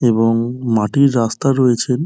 এবং মাটির রাস্তা হয়েছেন ।